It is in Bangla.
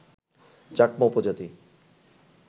চাকমা উপজাতি